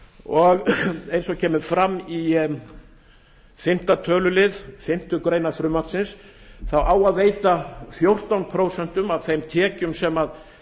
og eins og kemur fram í fimmta tölulið fimmtu grein frumvarpsins á beinlínis að veita til þess fjórtán prósent af þeim tekjum sem